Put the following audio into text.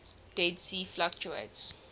dead sea fluctuates